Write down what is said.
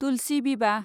तुलसि विवाह